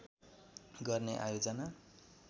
गर्ने आयोजना